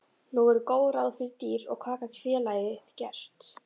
Nú voru góð ráð dýr og hvað gat félagið gert?